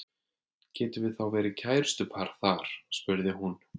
Getum við þá verið kærustupar þar spurði hún.